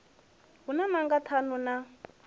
hu na nanga ṱhanu na